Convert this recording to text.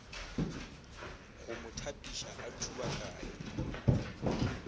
go mo thapiša a thubakanye